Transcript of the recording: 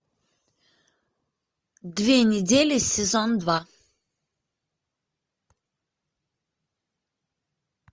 две недели сезон два